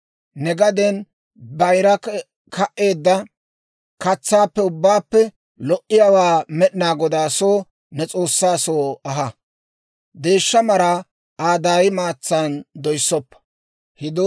Ne gaden bayira ka"eedda katsaappe ubbaappe lo"iyaawaa Med'inaa Godaa soo, ne S'oossaa soo aha. Deeshsha maraa Aa daay maatsan doyssoppa.